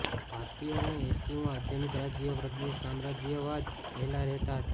ભારતીયો અને એસ્કિમો આધુનિક રાજ્યના પ્રદેશ સામ્રાજ્યવાદ પહેલાં રહેતા હતા